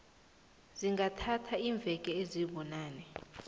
zingathatha iimveke ezibunane